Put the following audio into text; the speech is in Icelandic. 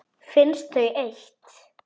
Finnst þau eitt.